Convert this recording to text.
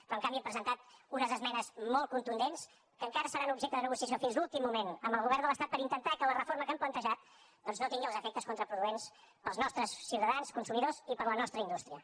però en canvi hem presentat unes esmenes molt contundents que encara seran objecte de negociació fins l’últim moment amb el govern de l’estat per intentar que la reforma que han plantejat doncs no tingui els efectes contraproduents per als nostres ciutadans consumidors i per a la nostra indústria